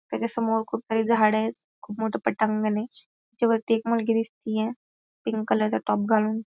त्याच्यासमोर खूप काही झाडयत खूप मोठ पटांगणय त्याच्या वरती एक मुलगी दिसतीये पिंक कलर चा टॉप घालून.